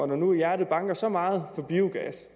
når nu hjertet banker så meget for biogas